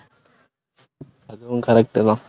அதுவும் correct உ தான்.